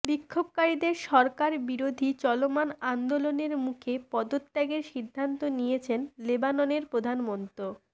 বিক্ষোভকারীদের সরকার বিরোধী চলমান আন্দোলনের মুখে পদত্যাগের সিদ্ধান্ত নিয়েছেন লেবাননের প্রধানমন্ত